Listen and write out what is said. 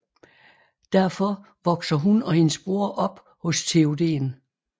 Derfor vokser hun og hendes bror op hos Théoden